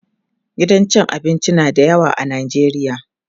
gidan cin abinci na da yawa a Najeriya